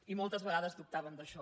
i moltes vegades dubtàvem d’això